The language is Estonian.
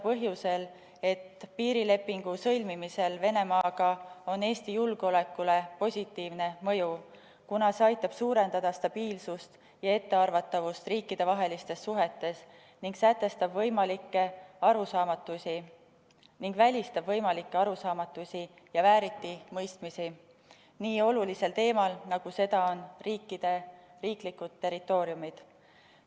Põhjusel, et piirilepingu sõlmimisel Venemaaga on Eesti julgeolekule positiivne mõju, sest see aitab suurendada stabiilsust ja ettearvatavust riikidevahelistes suhetes ning välistab võimalikke arusaamatusi ja vääritimõistmisi nii olulisel teemal, nagu seda on riikide riiklikud territooriumid.